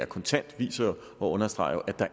kontant viser og understreger jo at der